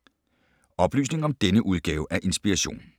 Oplysninger om denne udgave af Inspiration